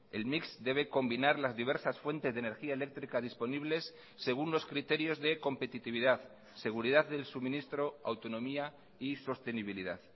el mix debe combinar las diversas fuentes de energía eléctrica disponibles según los criterios de competitividad seguridad del suministro autonomía y sostenibilidad